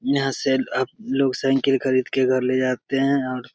यहाँ से आप लोग साइकिल खरीद के घर ले जाते है और --